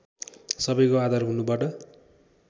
सबैको आधार हुनबाट